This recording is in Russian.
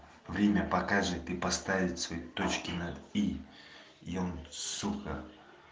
время покажет и поставит свои точки над и и он сука